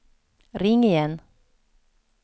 ring igen